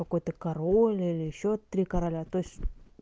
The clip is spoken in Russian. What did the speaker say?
какой-то король или ещё три короля то есть